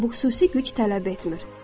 Bu xüsusi güc tələb etmir.